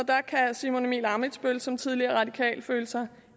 der kan herre simon emil ammitzbøll som tidligere radikal føle sig